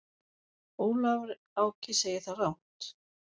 Ólafur Áki segir það rangt.